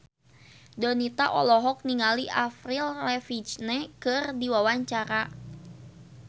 Donita olohok ningali Avril Lavigne keur diwawancara